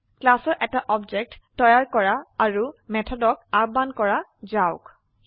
ক্লাসৰ এটা অবজেক্ট তৈয়াৰ কৰি আৰু মেথডক আহ্বান কৰা যাওক